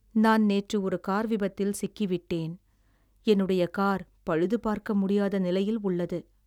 நான் நேற்று ஒரு கார் விபத்தில் சிக்கி விட்டேன், என்னுடைய கார் பழுதுபார்க்க முடியாத நிலையில் உள்ளது.